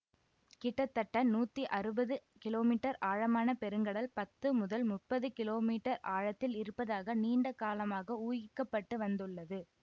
கிட்டத்தட்ட நூத்தி அறுவது கிலோ மீட்டர் ஆழமான பெருங்கடல் பத்து முதல் முப்பது கிலோ மீட்டர் ஆழத்தில் இருப்பதாக நீண்ட காலமாக ஊகிக்கப்பட்டு வந்துள்ளது